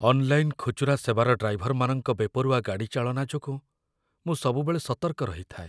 Online ଖୁଚୁରା ସେବାର ଡ୍ରାଇଭରମାନଙ୍କ ବେପରୁଆ ଗାଡ଼ିଚାଳନା ଯୋଗୁଁ ମୁଁ ସବୁବେଳେ ସତର୍କ ରହିଥାଏ।